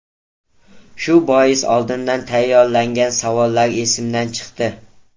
Shu bois oldindan tayyorlangan savollar esimdan chiqdi.